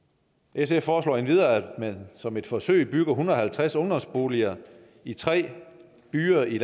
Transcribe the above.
sf foreslår endvidere at man som et forsøg bygger en hundrede og halvtreds ungdomsboliger i tre byer i